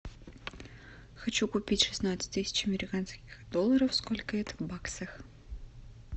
хочу купить шестнадцать тысяч американских долларов сколько это в баксах